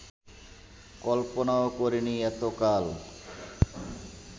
কল্পনাও করেনি এতকাল